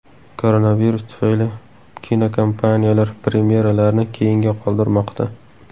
Koronavirus tufayli kinokompaniyalar premyeralarni keyinga qoldirmoqda.